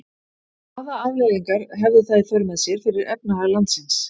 Hvaða afleiðingar hefði það í för með sér fyrir efnahag landsins?